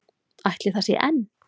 Ætli það sé enn?